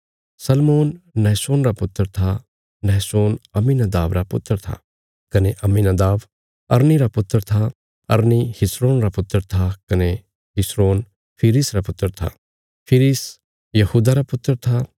नहशोन Amminadab रा पुत्र था कने अम्मीनादाब अरनी रा पुत्र था अरनी हिस्रोन रा पुत्र था कने हिस्रोन फिरिस रा पुत्र था फिरिस यहूदा रा पुत्र था